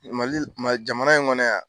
Mali jamana in kɔnɔ yan.